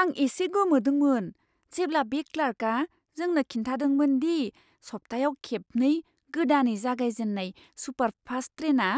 आं एसे गोमोदोंमोन, जेब्ला बे क्लार्कआ जोंनो खिन्थादोंमोन दि सप्तायाव खेबनै गोदानै जागायजेन्नाय सुपारफास्ट ट्रेनआ